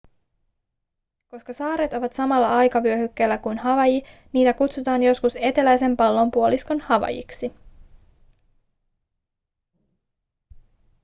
koska saaret ovat samalla aikavyöhykkeellä kuin havaiji niitä kutsutaan joskus eteläisen pallonpuoliskon havaijiksi